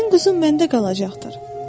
Sənin quzun məndə qalacaqdır.